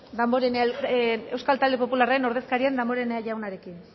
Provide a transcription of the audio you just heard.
euskal talde popularraren ordezkaria den damborenea jaunarekin